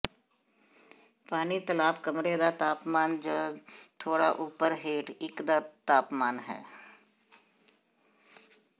ਪਾਣੀ ਤਲਾਬ ਕਮਰੇ ਦਾ ਤਾਪਮਾਨ ਜ ਥੋੜ੍ਹਾ ਉਪਰ ਹੇਠ ਇੱਕ ਦਾ ਤਾਪਮਾਨ ਹੈ